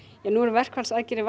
verkfallsaðgerðir